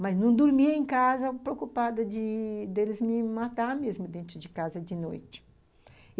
Mas não dormia em casa, preocupada de deles me matarem dentro de casa de noite.